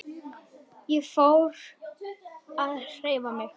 Ég fór að hreyfa mig.